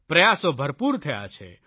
પ્રયાસો ભરપૂર થયા છે